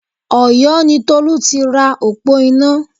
Ọ̀yó ni Tolú tira òpó iná